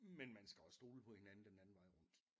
Men man skal også stole på hinanden den anden vej rundt